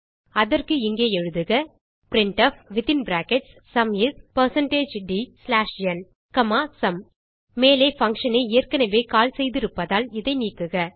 அதற்கு இங்கே எழுதுக printfசும் is160dnசும் மேலே பங்ஷன் ஐ ஏற்கனவே கால் செய்திருப்பதால் இதை நீக்குக